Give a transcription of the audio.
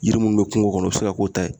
Yiri munnu be kungo kɔnɔ o be se ka k'o ta ye